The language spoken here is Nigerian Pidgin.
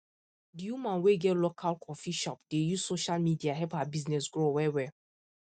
the woman wey get local coffee shop dey use social media help her business grow well well